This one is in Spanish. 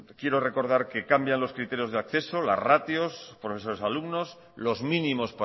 quiero recordar que cambian los criterios de acceso los ratios procesos de los alumnos los mínimos